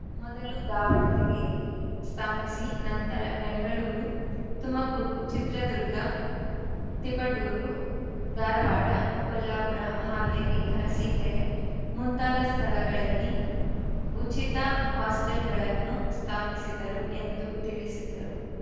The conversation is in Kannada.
ಮೊದಲು ದಾವಣಗೆರೆಯಲ್ಲಿ ಸ್ಥಾಪಿಸಿ ನಂತರ ಬೆಂಗಳೂರು ತುಮಕೂರು ಚಿತ್ರದುರ್ಗ ತಿಪಟೂರು ಧಾರವಾಡ ಕೊಲ್ಲಾಪುರ ಹಾವೇರಿ ಅರಸಿಕೆರೆ ಮುಂತಾದ ಸ್ಥಳಗಳಲ್ಲಿ ಉಚಿತ ಹಾಸ್ಟೆಲ್‌ಗಳನ್ನು ಸ್ಥಾಪಿಸಿದರು ಎಂದು ತಿಳಿಸಿದ್ದರು